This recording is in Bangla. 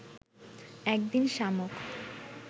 একদিন শামুক